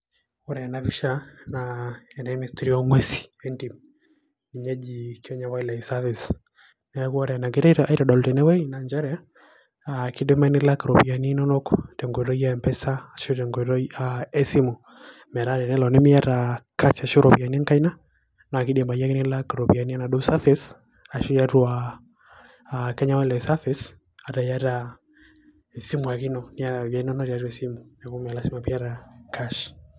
Ore tena pisha naa, ene Ministry o ng'uesin entim. Ninye eji Kenya Wildlife Service. Neeku ore enegirai aitodolu tenewei na njere, kidimayu nilak iropiyiani inonok tenkoitoi e M-PESA ashu tenkoitoi esimu, metaa tenelo nimiata cash ashu iropiyiani enkaina, na kidimayu ake nilak iropiyiani enaduo Service ,ashu tiatua Kenya Wildlife Service ,ata iyata esimu ake ino, niata ropiyaiani nonok tiatua esimu. Neeku me lasima piata cash.